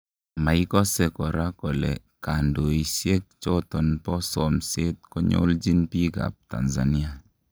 Maikose kora kole kundisiek choton bo somset konyoljin biik ab Tanzania